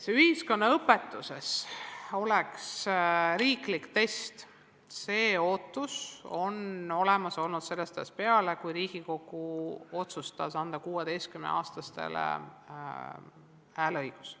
Et ühiskonnaõpetuses oleks riiklik test, see ootus on olemas olnud sellest ajast peale, kui Riigikogu otsustas anda 16-aastastele valimistel hääleõiguse.